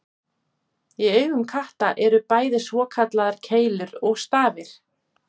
Í augum katta eru bæði svokallaðar keilur og stafir.